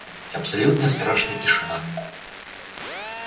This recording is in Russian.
и абсолютно страшная тишина